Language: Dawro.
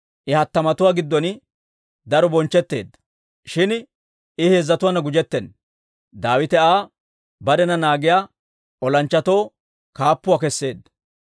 I hattamatuwaa giddon daro bonchchetteedda; shin I heezzatuwaana gujjetena. Daawite Aa barena naagiyaa olanchchatoo kaappuuwaa keseedda.